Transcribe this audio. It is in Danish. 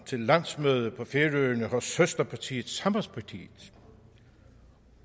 til landsmøde på færøerne hos søsterpartiet sambandspartiet